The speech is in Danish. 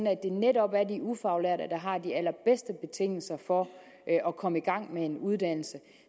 at det netop er de ufaglærte der har de allerbedste betingelser for at komme i gang med en uddannelse